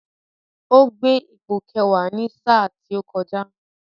Ó gbé ipò Kẹ̀wá ní sà tó kọjá